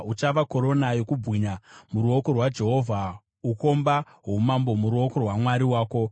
Uchava korona yokubwinya muruoko rwaJehovha, ukomba hwoumambo muruoko rwaMwari wako.